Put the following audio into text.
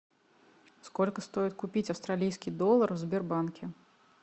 сколько стоит купить австралийский доллар в сбербанке